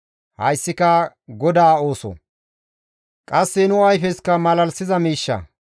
Hayssika GODAA ooso; qasse nu ayfesikka malalisiza miishsha.